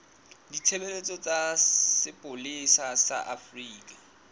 ditshebeletso tsa sepolesa sa afrika